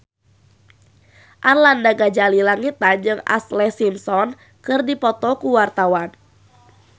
Arlanda Ghazali Langitan jeung Ashlee Simpson keur dipoto ku wartawan